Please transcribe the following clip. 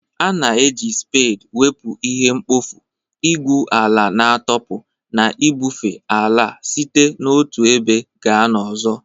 A na-eji spade wepụ ihe mkpofu, igwu ala na-atọpụ na ibufe ala site n'otu ebe gaa n'ọzọ